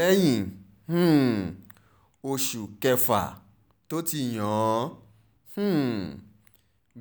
lẹ́yìn um oṣù kẹfà tó ti yàn án um